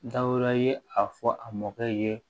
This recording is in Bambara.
Dawɛrɛ ye a fɔ a mɔkɛ ye